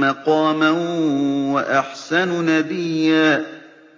مَّقَامًا وَأَحْسَنُ نَدِيًّا